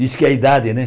Diz que é a idade, né?